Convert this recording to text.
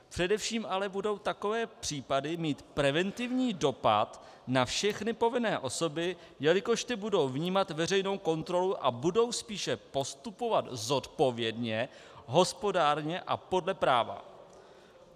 Především ale budou takové případy mít preventivní dopad na všechny povinné osoby, jelikož ty budou vnímat veřejnou kontrolu a budou spíše postupovat zodpovědně, hospodárně a podle práva."